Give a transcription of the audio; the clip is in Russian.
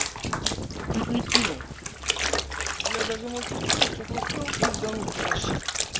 чуть кинул блять даже можете кинуть что-то успел пиздануть короче